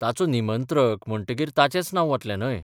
ताचो निमंत्रक म्हणटकीर ताचेंच नांव बतलें न्हय?